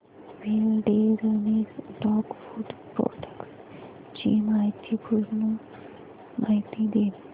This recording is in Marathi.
विलडेरनेस डॉग फूड प्रोडक्टस ची पूर्ण माहिती दे